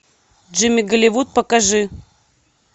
джимми голливуд покажи